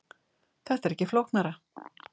Þetta er ekki flóknara